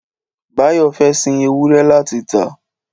Báyọ̀ fẹ́ sin ewúrẹ́ láti tà